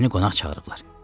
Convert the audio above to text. Məni qonaq çağırıblar.